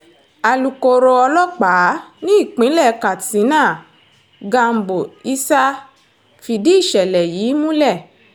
alūkkóró ọlọ́pàá nípínlẹ̀ katsina gambo isah fìdí ìṣẹ̀lẹ̀ yìí múlẹ̀